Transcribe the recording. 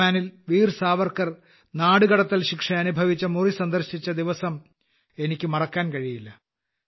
ആൻഡമാനിൽ വീർ സാവർക്കർ നാടുകടത്തൽ ശിക്ഷ അനുഭവിച്ച മുറി സന്ദർശിച്ച ആ ദിവസം എനിയ്ക്ക് മറക്കാൻ കഴിയില്ല